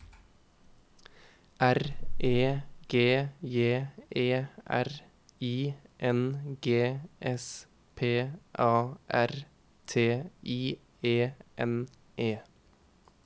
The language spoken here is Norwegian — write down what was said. R E G J E R I N G S P A R T I E N E